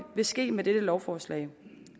vil ske med dette lovforslag